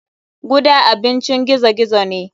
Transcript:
Guda abincin gizo gizo ne.